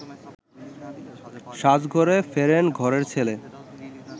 সাজঘরে ফেরেন ঘরের ছেলে